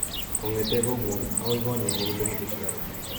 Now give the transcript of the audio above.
Kong'te kong'wong' akoi konyon ko kilomitaisyek ata?